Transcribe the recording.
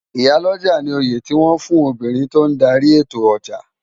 Iyá lòjá ni óyé tiwòn fún óbirin tó n dàri étó òjá